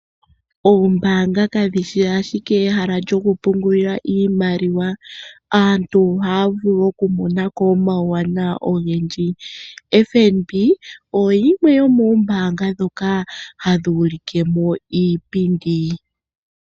Oombaanga kadhi shi ashike ehala lyoku pungulila iimaliwa. Aantu ohaya vulu oku mona ko omawuwanawa ogendji. FNB oyimwe yomoombaanga ndhoka hadhi ulike mo iipindi.